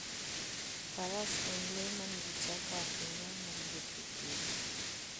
Faras en le ma nigi teko ahinya mar wuotho e thim.